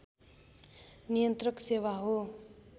नियन्त्रक सेवा हो